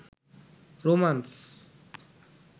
romance